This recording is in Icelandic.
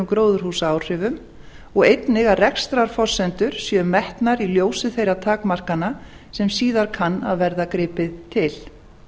gróðurhúsaáhrifum og einnig að rekstrarforsendur séu metnar í ljósi þeirra takmarkana sem síðar kann að verða gripið til